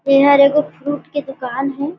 एहर एगो फ्रूट के दुकान हे।